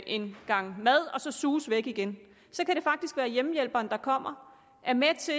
en gang mad og så suse væk igen så kan det faktisk være hjemmehjælperen der kommer og er med til